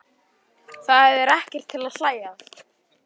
Þetta er ekkert til að hlæja að!